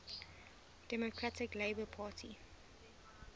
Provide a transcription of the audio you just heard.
democratic labour party